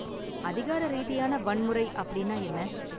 அதிகார ரீதியான வன்முறை அப்படின்னா என்ன?